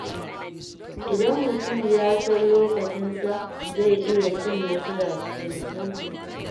Idan mutum ya san lokacinsa, zai iya cin nasara cikin sauƙi.